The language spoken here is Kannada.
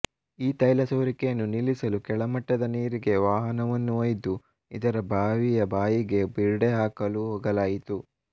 ಈ ತೈಲ ಸೋರಿಕೆಯನ್ನು ನಿಲ್ಲಿಸಲು ಕೆಳಮಟ್ಟದ ನೀರಿಗೆ ವಾಹನವನ್ನು ಒಯ್ದು ಇದರ ಬಾವಿಯ ಬಾಯಿಗೆ ಬಿರುಡೆ ಹಾಕಲು ಹೋಗಲಾಯಿತು